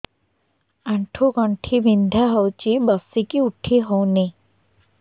ଆଣ୍ଠୁ ଗଣ୍ଠି ବିନ୍ଧା ହଉଚି ବସିକି ଉଠି ହଉନି